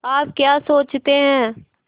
आप क्या सोचते हैं